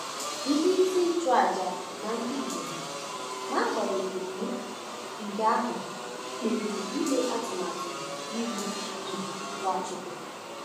Ndị isi nchụaja na ndị Igbo, n’agbanyeghị um nke ahụ, kpebiri ime atụmatụ igbu um Nwachukwu.